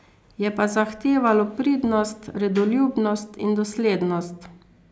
Je pa zahtevalo pridnost, redoljubnost in doslednost.